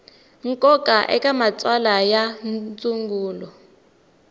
nkoka eka matsalwa ya ndzungulo